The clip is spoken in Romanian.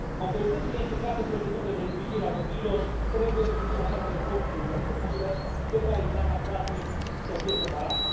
Autoritățile implicate în procedurile de îngrijire a copiilor trebuie să depună toate eforturile posibile pentru a evita ca frații să fie separați.